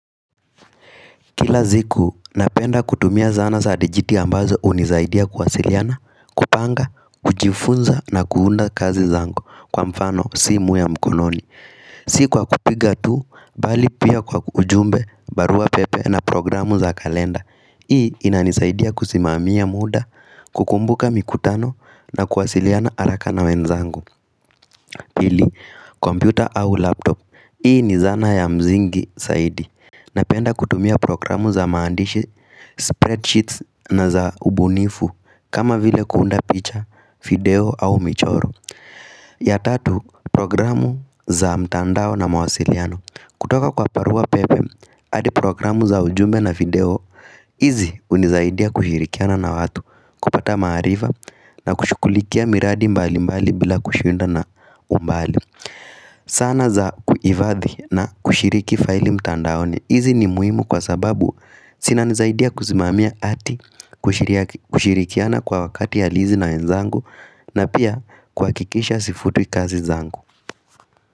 Kila ziku, napenda kutumia zana za digiti ambazo unizaidia kuwasiliana, kupanga, kujifunza na kuunda kazi zangu kwa mfano, simu ya mkononi. Sikuwa kupiga tu, bali pia kwa ujumbe, barua pepe na programu za kalenda. Hii inanisaidia kusimamia muda, kukumbuka mikutano na kuwasiliana araka na wenzangu. Pili, kompyuta au laptop. Hii ni zana ya mzingi saidi. Napenda kutumia programu za maandishi, spreadsheets na za ubunifu kama vile kuunda picha, video au michoro. Ya tatu programu za mtandao na mawasiliano kutoka kwa parua pepe, hadi programu za ujumbe na video Izi unizaidia kushirikiana na watu, kupata mahariva na kushukulikia miradi mbali mbali bila kushuinda na umbali zana za kuivadhi na kushiriki file mtandani. Hizi ni muhimu kwa sababu sinanizaidia kuzimamia ati kushirikiana kwa wakati halizi na wenzangu na pia kuhakikisha sifutwi kazi zangu.